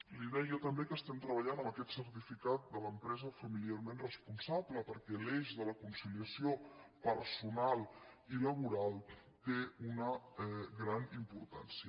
li deia també que estem treballant en aquest certificat de l’empresa familiarment responsable perquè l’eix de la conciliació personal i laboral té una gran importància